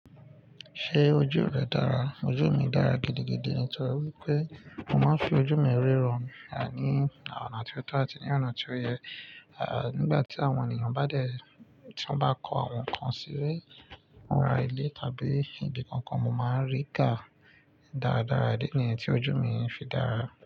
Ṣé ojú rẹ dára? Ojú mi dára gidigidi nítorí wípé mo máa ń fi ojú mi rí ràn ní ọ̀na tí ó tọ́ àti ní ọ̀nà tí ó yẹ. Nigbati àwọn ènìyàn tó bá kọ àwọn nǹkan sílé, fúnra ilé tàbí ibi kankan, mo máa ń rí i ká dáadáa. Ìdí níyen tí ojú mi ń fi dára.